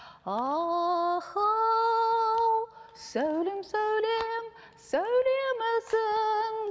ахоу сәулем сәулем сәулемсің